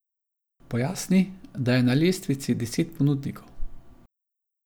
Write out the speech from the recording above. Pojasni, da je na lestvici deset ponudnikov.